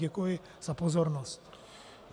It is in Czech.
Děkuji za pozornost.